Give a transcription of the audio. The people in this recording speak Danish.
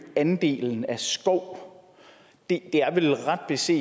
andelen af skov det er vel ret beset